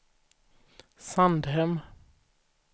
Sandhem